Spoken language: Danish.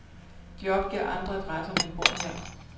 De opgiver andre adresser, men bor her.